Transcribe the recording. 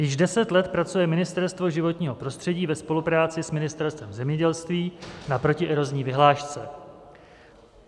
Již deset let pracuje Ministerstvo životního prostředí ve spolupráci s Ministerstvem zemědělství na protierozní vyhlášce.